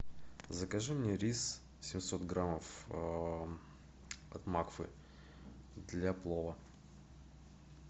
закажи мне рис семьсот граммов от макфы для плова